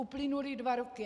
Uplynuly dva roky.